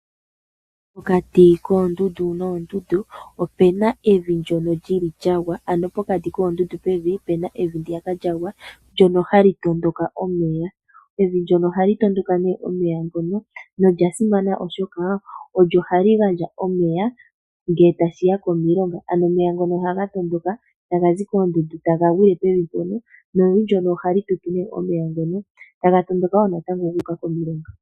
Pokati koondundu noondundu opuna evi ndyono lyili lyagwa ndyono hali tondo omeya . Evi ndyono ohali tondoka omeya nolyasimana oshoka olyo hali gandja omeya ngele tashi ya komilonga. Ano omeya ngono ohaga tondoka taga zi koondundu , taga gwile pevi mpono, nevi ndyono ohali tutu omeya ngono taga tondoka wo natango guuka komilonga.